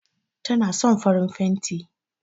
Tana son farin fenti